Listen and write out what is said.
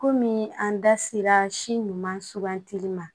Kɔmi an da sera si ɲuman sugantili ma